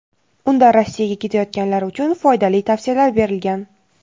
Unda Rossiyaga ketayotganlar uchun foydali tavsiyalar berilgan.